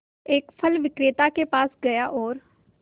एक फल विक्रेता के पास गया और